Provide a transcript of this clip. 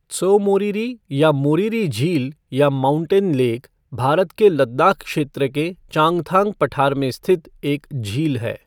त्सो मोरिरी या मोरिरी झील या माउंटेन लेक, भारत के लद्दाख क्षेत्र के चांगथांग पठार में स्थित एक झील है।